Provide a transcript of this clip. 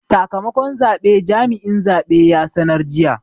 Sakamakon zabe jami'in zabe ya sanar jiya.